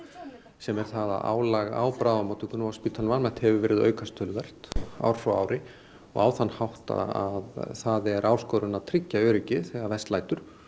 sem er það að álag á bráðamóttökunni og spítalanum almennt hefur verið að aukast töluvert ár frá ári og á þann hátt að það er áskorun að tryggja öryggi þegar verst lætur